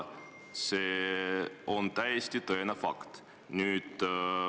See on täiesti tõene fakt.